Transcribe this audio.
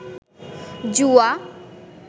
জুয়া